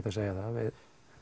að segja það við